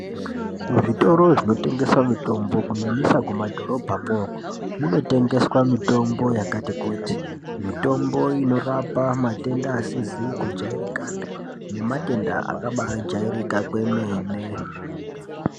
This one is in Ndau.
Muzvitoro zvinotengese mitombo kunyanyisa kumadhorobhamwo zvinotengeswa mitombo yakati kuti mitombo inorapa matenda asizi kujairikapi nematenda akaba ajairika kwemene.